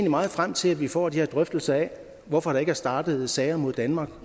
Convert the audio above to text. meget frem til at vi får de her drøftelser af hvorfor der ikke er startet sager mod danmark